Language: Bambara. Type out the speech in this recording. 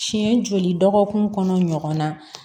Siɲɛ joli dɔgɔkun kɔnɔ ɲɔgɔn na